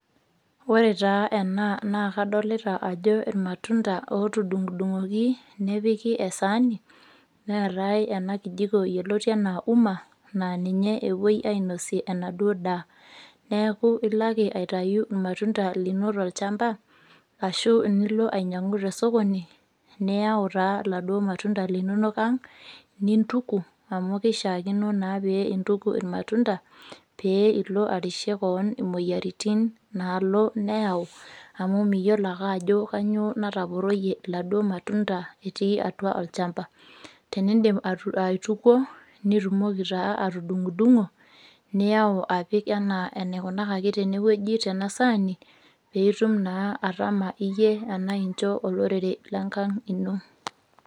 Ore taa ena nakadolta ajo irmatunda otudungdungoki nepiki esaani, neetai enakijiko yioloti anaa umma na ninye epuoi ainosie enaduo daa ,neaku ilo ake aitau irmatunda linono tolchamba ashu nilo ainyangu tosokoni neiyau taa laduo matunda linonok aang nintuku amu kishakino naa peintuku irmatunda peilo arishie kewon omoyiaritin nalobneyau amu miyiolo ake ajo kanyio nataporoyie laduo matunda etii atua olchamba, tenindim aitukuo ,nitumoki taa atudungdungo niyau apik anaa enikunakaki tenewueji tenasaani pitum naa atama iyie tana ishu incho olorere lenkang ino.